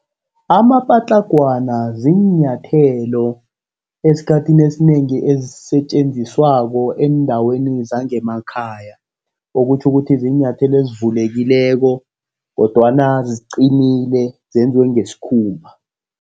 Amapatlagwana ziinyathelo esikhathini esinengi ezisetjenziswako eendaweni zangemakhaya. Okutjho ukuthi ziinyathelo ezivulekileko, kodwana ziqinile. Zenziwe ngesikhumba.